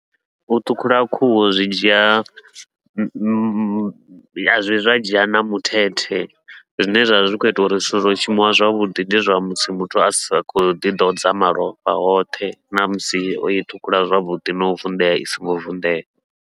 U ṱhukhula khuhu zwi dzhia a zwivhi zwa dzhia na muthethe, zwine zwavha zwi khou ita uri zwithu zwa sa shumiwa zwavhuḓi ndi zwa musi muthu asa khou ḓi ḓodza malofha hoṱhe ṋamusi oi ṱhukhula zwavhuḓi nau vunḓea i songo vunḓea.